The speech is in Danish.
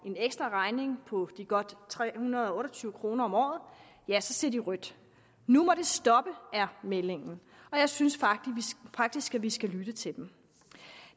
en ekstraregning på de godt tre hundrede og otte og tyve kroner om året ja så ser de rødt nu må det stoppe er meldingen og jeg synes faktisk at vi skal lytte til dem